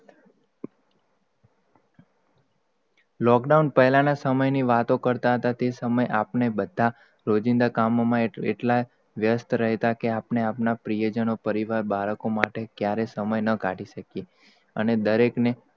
lockdown પહેલા ના સમય ની વાતો કરતા હતાં, તે સમય આપણે, બધાં જ રોજિંદા કામોમાં એટલા વ્યસ્ત રહેતા કે આપડે આપડા પ્રિય જન્કો બાળકો માટે ક્યારેય સમય ના કાઢી સહકિયે, અને દરેક ને ફ્કત,